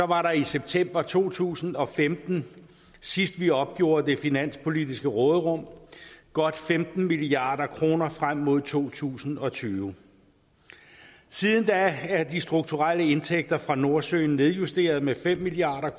var der i september to tusind og femten sidst vi opgjorde det finanspolitiske råderum godt femten milliard kroner frem mod to tusind og tyve siden da er de strukturelle indtægter fra nordsøen nedjusteret med fem milliard